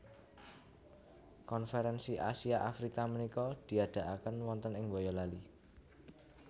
Konferensi Asia Afrika menika diadaaken wonten ing Boyolali